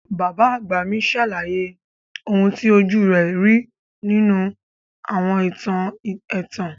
Bàbá àgbà mi sàlàyé oun ti ojú rẹ̀ ri nínú àwọn ìtàn ẹ̀tàn.